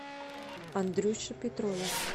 андрюше петрове